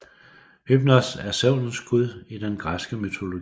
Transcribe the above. Hypnos er søvnens gud i den græske mytologi